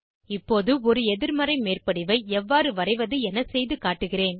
இப்போது ஒரு எதிர்மறை மேற்படிவை எவ்வாறு வரைவது என செய்து காட்டுகிறேன்